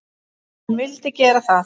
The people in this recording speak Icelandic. Hann vildi gera það.